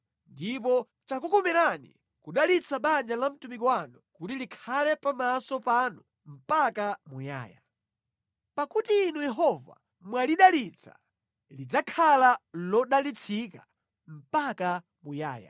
Ndipo chakukomerani kudalitsa banja la mtumiki wanu kuti likhale pamaso panu mpaka muyaya. Pakuti Inu Yehova mwalidalitsa, lidzakhala lodalitsika mpaka muyaya.”